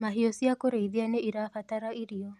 Mahiũ cia kũrĩithia nĩirabatara irio